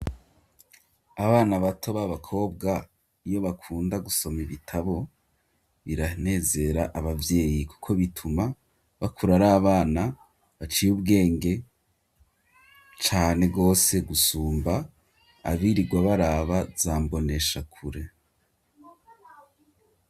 abana bato b'abakobwa yo bakunda gusoma ibitabo biranezera abavyeyi kuko bituma bakura ari abana baciye ubwenge cane gose gusumba abirirwa baraba za mbonesha kure.